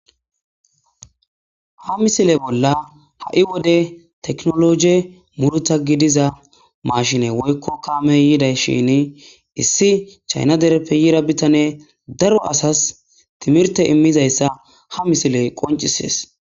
Ha misile bolla tekinoloje gussa gidida mashine issi chayina derrepe yidda bitaneyi darro assasi timirite imidayissa ha misileyi qoncissesi